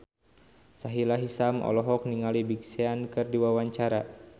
Sahila Hisyam olohok ningali Big Sean keur diwawancara